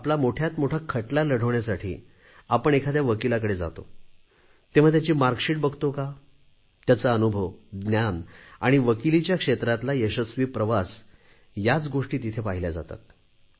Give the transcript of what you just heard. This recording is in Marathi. आपला मोठ्यात मोठा खटला लढवण्यासाठी तुम्ही एखाद्या वकिलाकडे जाता तेव्हा त्याची गुणपत्रिका बघता का त्याचा अनुभव ज्ञान आणि वकिलीच्या क्षेत्रातला यशस्वी प्रवास याच गोष्टी तिथे पाहिल्या जातात